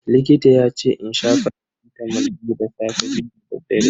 Likita yace in sha faracitamol biyu da safe, biyu dadaddare.